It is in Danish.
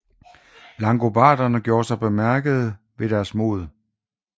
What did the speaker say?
Langobarderne gjorde sig bemærkede ved deres mod